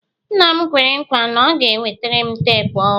nna m kwere nkwa na ọ ga-enwetara m teepu ọhụrụ